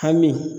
Hami